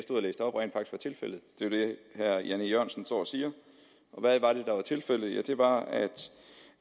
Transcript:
tilfældet det er det herre jan e jørgensen står og siger og hvad var det der var tilfældet ja det var